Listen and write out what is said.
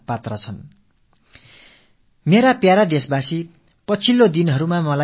என்றாலும் அனைவருமே பாராட்டத் தகுதியானவர்கள் தாம்